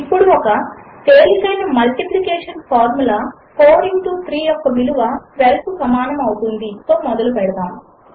ఇప్పుడు ఒక తేలికైన మల్టిప్లికేషన్ ఫార్ములా 4క్స్3 యొక్క విలువ 12 కు సమానము అవుతుంది తో మొదలు పెడదాము